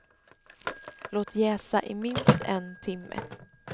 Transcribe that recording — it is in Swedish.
Låt jäsa i minst en timme.